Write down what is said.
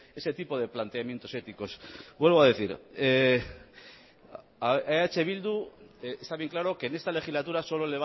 ese tipo de planteamientos éticos vuelvo a decir a eh bildu está bien claro que en esta legislatura solo